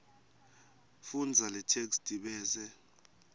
fundza letheksthi bese